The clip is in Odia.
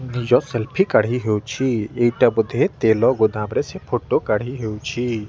ନିଜ ସେଲ୍ଫି କାଢି ହଉଚି ଏଇଟା ବୋଧେ ତେଲ ଗୋଦାମ ରେ ସେ ଫଟୋ କାଢି ହଉଚି।